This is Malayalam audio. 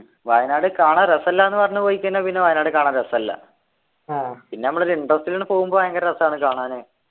വയനാട് കാണാൻ രസല്ലാന്ന് പറഞ്ഞു പോയി കഴിഞ്ഞാ പിന്നെ വയനാട് കാണാൻ രസല്ല പിന്ന നമ്മള് ഒരു interest ലങ് പോകുമ്പോ ഭയങ്കര രസാണ് കാണാന്